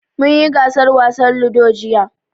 Mun yi gasar wasan Ludo, jiya.